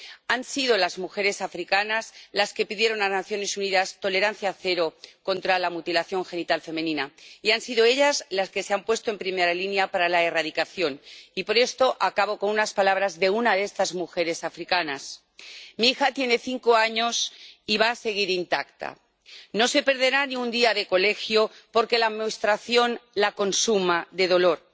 Han sido las mujeres africanas las que pidieron a las Naciones Unidas tolerancia cero contra la mutilación genital femenina y han sido ellas las que se han puesto en primera línea para la erradicación y por esto acabo con unas palabras de una de estas mujeres africanas Mi hija tiene cinco años y va a seguir intacta. No se perderá ni un día de colegio porque la menstruación la consuma de dolor.